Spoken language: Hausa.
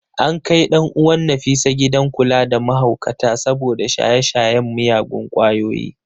An kai ɗan uwan ​​Nafisa gidan kula da mahaukata saboda shaye-shayen miyagun kwayoyi.